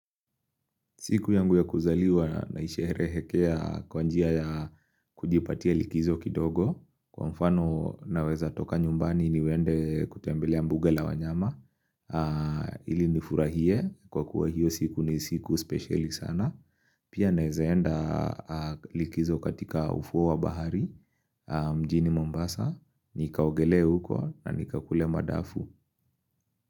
Siku yangu ya kuzaliwa naishehere hekea kwanjia ya kujipatia likizo kidogo. Kwa mfano naweza toka nyumbani niwende kutembele ambuga la wanyama. Ili nifurahie kwa kuwa hiyo siku ni siku speciali sana. Pia naizaenda likizo katika ufuo wa bahari mjini Mombasa. Nikaogele uko na nikakule madafu.